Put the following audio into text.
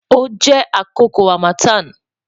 o jẹ akoko harmattan